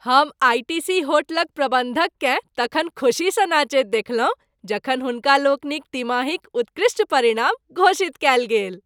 हम आइ.टी.सी. होटलक प्रबन्धककेँ तखन खुशीसँ नचैत देखलहुँ जखन हुनका लोकनिक तिमाहीक उत्कृष्ट परिणाम घोषित कएल गेल।